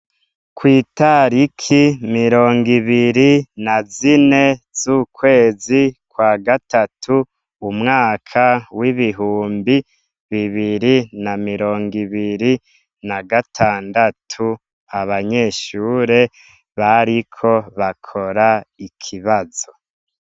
Kw'itariki mirongo ibiri na zine z'ukwezi kwa gatatu umwaka w'ibihumbi bibiri na mirongo ibiri na gatandatu abanyeshure bariko bakora ikibazo.